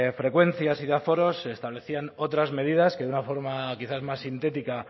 frecuencias y de aforos se establecían otras medidas que de una forma quizás más sintética